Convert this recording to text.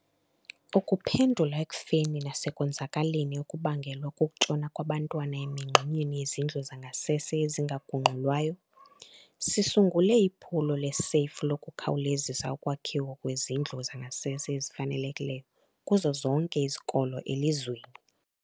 Ukuphendula ekufeni nasekonzakaleni okubangelwa kukutshona kwabantwana emingxunyeni yezindlu zangasese ezingagungxulwayo, sisungule iphulo le-SAFE lokukhawulezisa ukwakhiwa kwezindlu zangasese ezifanelekileyo kuzo zonke izikolo elizweni.